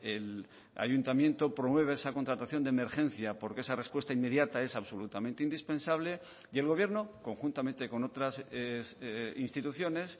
el ayuntamiento promueve esa contratación de emergencia porque esa respuesta inmediata es absolutamente indispensable y el gobierno conjuntamente con otras instituciones